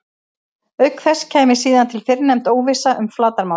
Auk þess kæmi síðan til fyrrnefnd óvissa um flatarmálið.